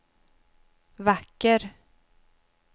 vacker